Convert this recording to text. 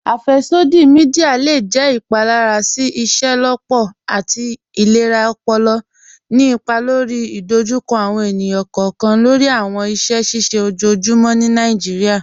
Afẹ́ṣọdí míḍíà awùjọ́ le jẹ́ ìpálàrà sí ìṣẹ́lọ́pọ̀ àti ìlẹ̀rà ọ̀pọ̀lọ̀, ní ìpà lórí ìdòjúkọ̀ àwọn ènìyàn kọọkan lórí àwọn ìṣẹ̀ ṣíṣẹ̀ ọjọ́ọ̀jùmọ́ ní Nàìjíríà.